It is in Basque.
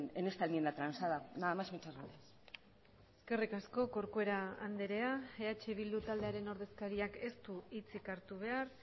en esta enmienda transada nada más muchas gracias eskerrik asko corcuera andrea eh bildu taldearen ordezkariak ez du hitzik hartu behar